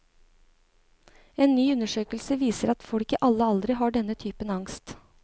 En ny undersøkelse viser at folk i alle aldre har denne typen angst.